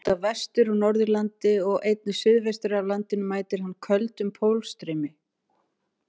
Út af Vestur- og Norðurlandi og einnig suðaustur af landinu mætir hann köldum pólstraumi.